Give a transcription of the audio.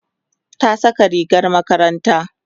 ta Saka rigar makaranta